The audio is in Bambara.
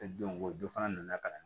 don ko dɔ fana nana ka na